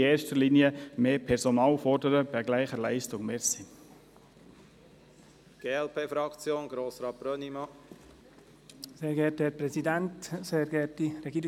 Es ist nicht richtig, bei gleicher Leistung mehr Personal zu fordern.